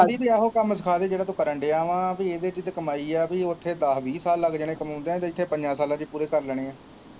ਇਹੋ ਹੀ ਕੰਮ ਸਿਖਾ ਦੇ ਜਿਹੜਾ ਤੂੰ ਕਰਨ ਦਿਆਂ ਵਾ ਤੇ ਇਹਦੇ ਚ ਤੇ ਕਮਾਈ ਹੈ ਪੀ ਉੱਥੇ ਦਸ ਵੀਹ ਸਾਲ ਲੱਗ ਜਾਣੇ ਕਮਾਉਂਦਿਆ ਤੇ ਇੱਥੇ ਪੰਜਾ ਸਾਲਾਂ ਚ ਹੀ ਪੂਰੇ ਕਰ ਲੈਣੇ ਹੈ।